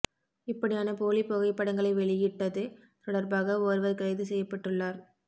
இப்படியான போலி புகைப்படங்களை வெளியிட்டது தொடர்பாக ஒருவர் கைது செய்யப்பட்டுள்ளார்